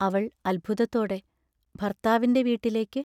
അവൾ അത്ഭുതത്തോടെ ഭർത്താവിന്റെ വീട്ടിലേക്ക്.